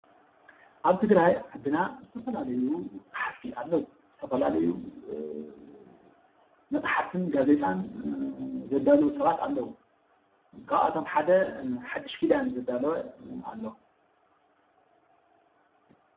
ኣብ ትግራይ ዓድና ዝተፈላለዩ ፀሓፍቲ ኣለዉ፡፡ ዝተፈላለዩ መፅሓፍትን ጋዜጣን ዘዳልዉ ሰባት ኣለዉ፡፡ ካብኣቶም ሓደ ሓዱሽ ኪዳን ዘዳለወ ኣሎ፡፡